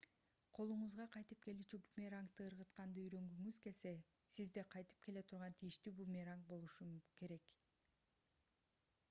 колуңузга кайтып келүүчү бумерангды ыргытканды үйрөнгүңүз келсе сизде кайтып келе турган тийиштүү бумеранг болушу керек